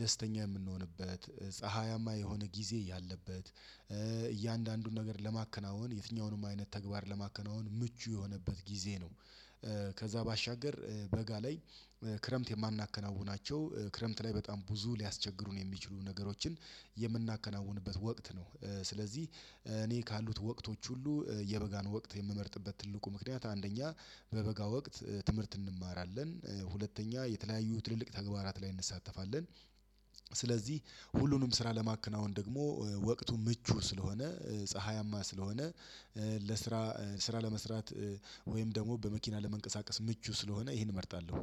ደስተኛ የምንሆንበት ፀሀያማ የሆነ ጊዜ ያለበት እያንዳንዱን ነገር ለማከናወን የትኛውንም አይነት ተግባር ለማከናወን ምቹ የሆነበት ጊዜ ነው። ከዛ ባሻገር በጋ ላይ ክረምት የማናከናውናቸው ክረምት ላይ በጣም ብዙ ሊያስቸግሩን የሚችሉ ነገሮችን የምናከናውንበት ወቅት ነው። ስለዚህ እኔ ካሉት ወቅቶች ሁሉ የበጋን ወቅት የምመርጥበት ትልቁ ምክንያት አንደኛ በበጋ ወቅት ትምህርት እንማራለን ሁለተኛ የተለያዩ ትልልቅ ተግባራት ላይ እንሳተፋለን። ስለዚህ ሁሉንም ስራ ለማከናወን ደግሞ ወቅቱ ምቹ ስለሆነ ፀሀያማ ስለሆነ። ለስራ ስራ ለመስራት ወይም ደግሞ በመኪና ለመንቀሳቀስ ምቹ ስለሆነ ይሄን እመርጣለሁ።